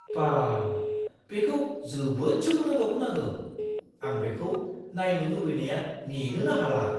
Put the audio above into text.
बा, बेखौ जोबोद सोमोनांथाव खोनादों! आं बेखौ नायनो लुबैनाया नेनोनो हाला!